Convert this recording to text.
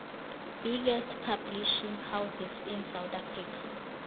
biggest publishing houses in south africa